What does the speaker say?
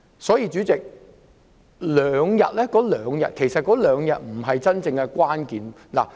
所以，主席，是否再增加兩天侍產假並不是真正的關鍵。